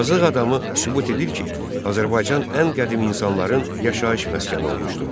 Azıx adamı sübut edir ki, Azərbaycan ən qədim insanların yaşayış məskəni olmuşdur.